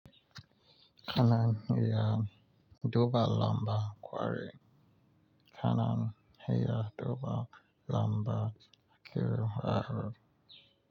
Kanan iya duba lamba kwari. Kanan iya duba lamba kira ha.